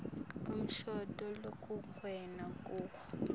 umshado lokungenwe kuwo